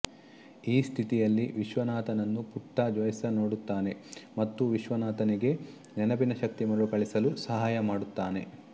ಈ ಸ್ಠಿತಿಯಲ್ಲಿ ವಿಶ್ವನಾಥನನ್ನು ಪುಟ್ಟಾ ಜೋಯ್ಸ ನೋಡುತ್ತಾನೆ ಮತ್ತು ವಿಶ್ವನಾಥನಿಗೆ ನೆನಪಿನ ಶಕ್ತಿ ಮರುಕಳಿಸಲು ಸಹಾಯ ಮಾಡುತ್ತಾನೆ